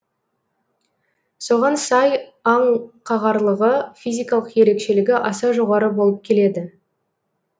соған сай аң қағарлығы физикалық ерекшелігі аса жоғары болып келеді